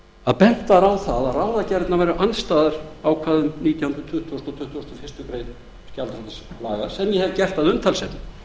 að bent var á að ráðagerðirnar væru andstæðar ákvæðum nítjánda tuttugasta og tuttugasta og fyrstu grein gjaldþrotaskiptalaga sem ég hef gert að umtalsefni